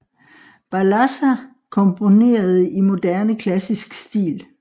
Balassa komponerede i moderne klassisk stil